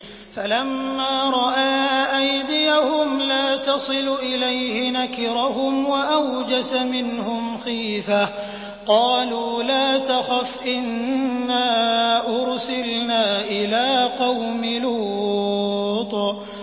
فَلَمَّا رَأَىٰ أَيْدِيَهُمْ لَا تَصِلُ إِلَيْهِ نَكِرَهُمْ وَأَوْجَسَ مِنْهُمْ خِيفَةً ۚ قَالُوا لَا تَخَفْ إِنَّا أُرْسِلْنَا إِلَىٰ قَوْمِ لُوطٍ